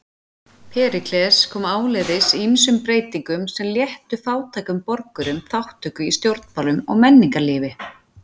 Períkles kom áleiðis ýmsum breytingum sem léttu fátækum borgurum þátttöku í stjórnmálum og menningarlífi.